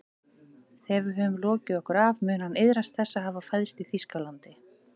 Þegar við höfum lokið okkur af mun hann iðrast þess að hafa fæðst í Þýskalandi